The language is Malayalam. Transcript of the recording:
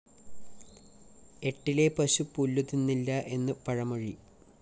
ഏട്ടിലെ പശു പുല്ലുതിന്നില്ല എന്നു പഴമൊഴി